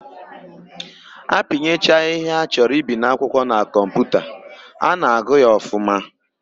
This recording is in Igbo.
A pinyecha ihe a chọrọ ibi n'akwụkwọ na kọmputa, a na-agụ ya ọfụma.